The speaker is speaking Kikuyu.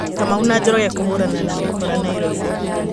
Kamau na Njoroge kũhũrana na mĩkora Nairobi.